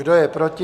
Kdo je proti?